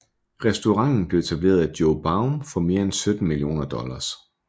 Restauranten blev etableret af Joe Baum for mere end 17 millioner dollars